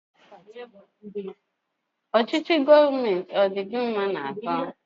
Ọchịchị gọọmenti ụgbụa, a dị gị mma n'ahụ?